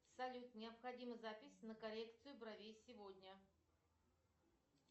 салют необходима запись на коррекцию бровей сегодня